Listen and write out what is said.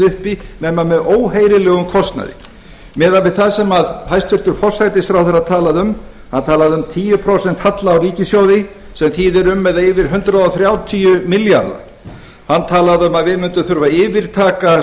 uppi nema með óheyrilegum kostnaði miðað við það sem hæstvirtur forsætisráðherra talaði um hann talaði um tíu prósent halla á ríkissjóði sem þýðir um eða yfir hundrað þrjátíu milljarða hann talaði um að við mundum þurfa að yfirtaka